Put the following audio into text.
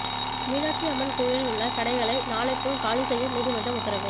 மீனாட்சி அம்மன் கோயிலில் உள்ள கடைகளை நாளைக்குள் காலி செய்ய நீதிமன்றம் உத்தரவு